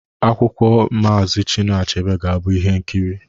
Akwụkwọ Maazi Chinua Achebe ga-abụ ihe nkiri.